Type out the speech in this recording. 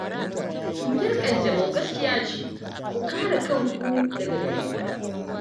Cutar ƙanjamau gaskiya ce, ku kare kanku daga gare ta